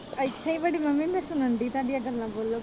ਇੱਥੇ ਈ ਵੱਡੀ ਮੰਮੀ ਮੈ ਸੁਣਨ ਦੀ ਤੁਹਾਡੀਆਂ ਗੱਲਾਂ ਬੋਲੋ।